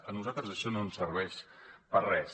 a nosaltres això no ens serveix per res